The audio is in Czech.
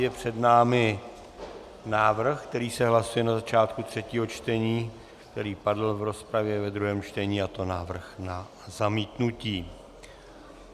Je před námi návrh, který se hlasuje na začátku třetího čtení, který padl v rozpravě ve druhém čtení, a to návrh na zamítnutí.